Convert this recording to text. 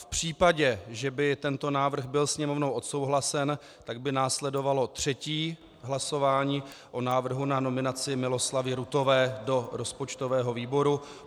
V případě, že by tento návrh byl Sněmovnou odsouhlasen, tak by následovalo třetí hlasování o návrhu na nominaci Miloslavy Ruthové do rozpočtového výboru.